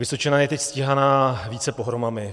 Vysočina je teď stíhaná více pohromami.